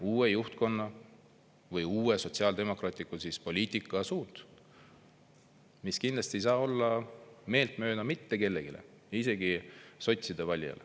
Uue juhtkonna või uue sotsiaaldemokraatliku poliitika suund, mis kindlasti ei saa olla meeltmööda mitte kellelegi, isegi sotside valijale.